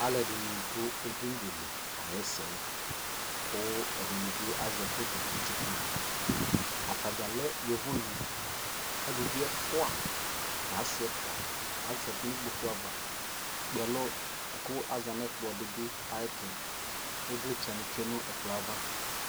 alʋɛdini dʋ ɛdini dilikayɛsɛ kʋ ɛdini bi azɛ photo kɛ tsʋkʋ, atagya lɛ yɔvɔ ni, alʋvi ɛƒʋa nʋ asii ɛƒʋa azati nʋ ikpɔkʋ aɣa ɛkpè ɛlʋ, aza nʋ ikpɔkʋ dibi, ivlitsɛ ni twɛnʋ ɛkplɔɛ aɣa